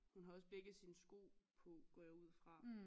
Hun har også begge sine sko på går jeg ud fra